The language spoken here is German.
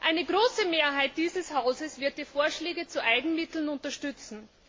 Eine große Mehrheit dieses Hauses wird die Vorschläge zu den Eigenmitteln unterstützen.